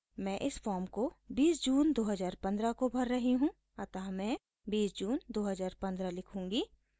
मैं इस फॉर्म को 20 जून 2015 को भर रही हूँ अतः मैं 20 जून 2015 लिखूँगी